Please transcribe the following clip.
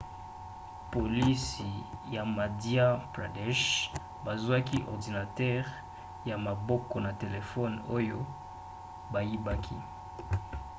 polisi ya madhya pradesh bazwaki ordinatere ya maboko na telefone oyo bayibaki